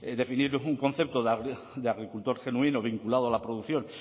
definir es un concepto de agricultor genuino vinculado a la producción